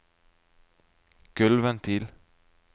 gulvventil